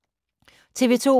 TV 2